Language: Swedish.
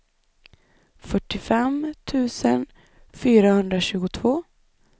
fyrtiofem tusen fyrahundratjugotvå